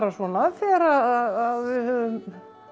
svona þegar við höfum